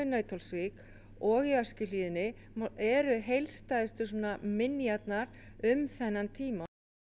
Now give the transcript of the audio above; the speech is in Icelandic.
Nauthólsvík og í Öskjuhlíðinni eru heildstæðustu minjarnar um þennan tíma